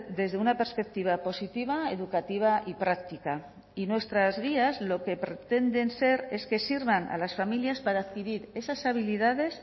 desde una perspectiva positiva educativa y práctica y nuestras guías lo que pretenden ser es que sirvan a las familias para adquirir esas habilidades